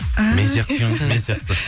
і мен сияқты екен ғой мен сияқты